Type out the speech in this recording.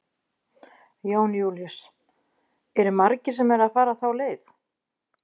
Jón Júlíus: Eru margir sem eru að fara þá leið?